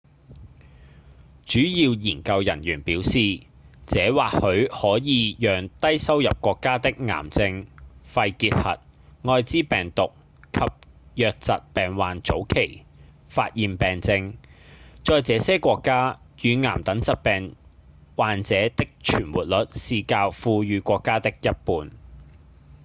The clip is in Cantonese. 主要研究人員表示這或許可以讓低收入國家的癌症、肺結核、愛滋病毒及瘧疾病患早期發現病症在這些國家乳癌等疾病患者的存活率是較富裕國家的一半